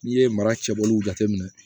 N'i ye mara cɛbɔliw jateminɛ